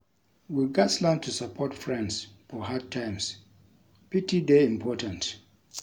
We gats learn to support friends for hard times; pity dey important.